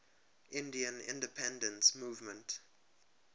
indian independence movement